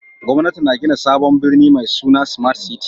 Gwamnati na gina sabon birni mai suna Smart City